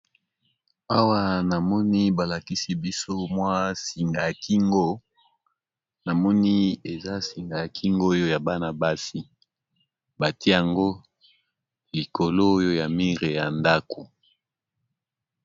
Awa namoni balakisi biso singa ya kingo namoni eza singa ya kingo ya Bana basi batiye yango ekolo ya mur ya ndako.